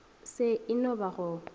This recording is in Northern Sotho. se e no ba go